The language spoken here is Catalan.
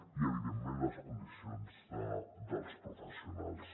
i evidentment les condicions dels professionals